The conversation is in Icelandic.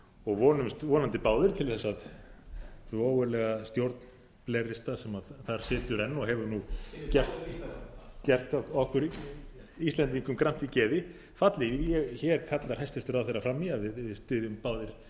og vonumst vonandi báðir til þess að hin ógurlega stjórn blairista sem þar situr enn og hefur gert okkur íslendingum gramt í geði falli hér kallar hæstvirtur ráðherra fram í að við styðjum báðir